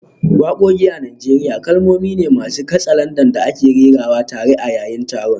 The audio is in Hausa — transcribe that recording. Wakoki a Najeriya kalmomi ne masu katsalandan da ake rera tare a yayin taron.